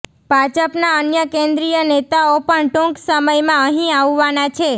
ભાજપના અન્ય કેન્દ્રીય નેતાઓ પણ ટૂંક સમયમાં અહીં આવવાના છે